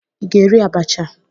Ị ga-eri abacha?